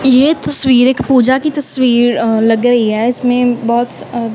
ये तस्वीर एक पूजा की तस्वीर लग गई है इसमें बहोत अ--